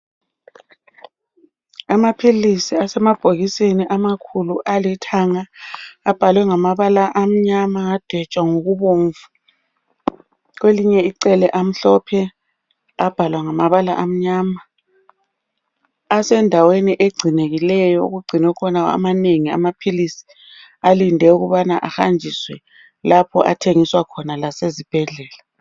Amapills asemabhokisini elikhulu alithanga abhalwe ngamabala amnyama lokubomvu kulelinye amhlophe abhalwa ngamabala amnyama asendaweni engcinekileyo okungcinwe amanengi amapills alinde ukubana ahanjiswe lapha athengiswa khona lasezibhedlela